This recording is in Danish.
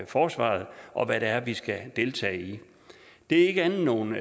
forsvaret og hvad det er vi skal deltage i det er ikke andet end nogle